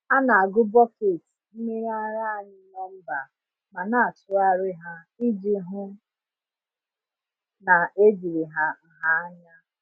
A na-agụ bọket mmiri ara anyị nọmba ma na-atụgharị ha iji hụ na ejiri ha nha anya.